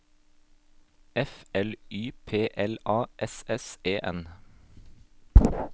F L Y P L A S S E N